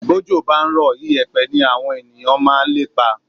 Bójò bá ń rọ̀, ìyẹ̀pẹ̀ ní àwọn ènìyàn máa ń lépa